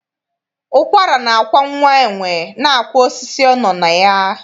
Ụkwara na-akwa nwa enwe, na-akwa osisi ọ nọ na ya.